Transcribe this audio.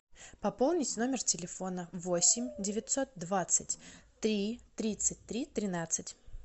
пополнить номер телефона восемь девятьсот двадцать три тридцать три тринадцать